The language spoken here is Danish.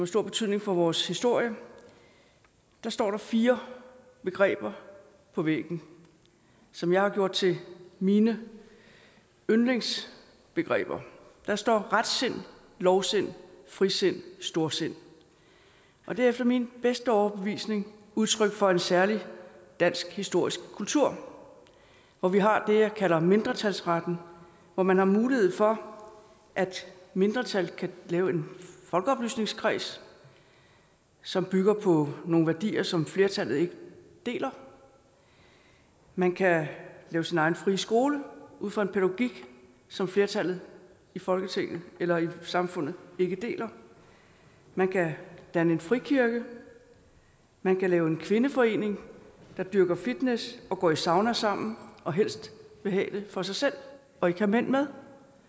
stor betydning for vores historie står der fire begreber på væggen som jeg har gjort til mine yndlingsbegreber der står retsind lovsind frisind storsind det er efter min bedste overbevisning udtryk for en særlig dansk historisk kultur hvor vi har det jeg kalder mindretalsretten hvor man har mulighed for at et mindretal kan lave en folkeoplysningskreds som bygger på nogle værdier som flertallet ikke deler man kan lave sin egen frie skole ud fra en pædagogik som flertallet i folketinget eller i samfundet ikke deler man kan danne en frikirke man kan lave en kvindeforening der dyrker fitness og går i sauna sammen og helst vil have det for sig selv og ikke have mænd med